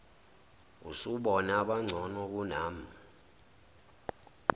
usubone abangcono kunami